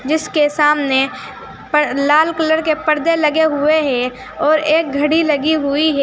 जिसके सामने पर लाल कलर के पर्दे लगे हुए हैं और एक घड़ी लगी हुई है।